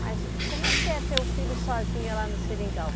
Mas como é que é ter o filho sozinha lá no seringal?